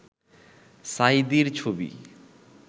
সাঈদীর ছবি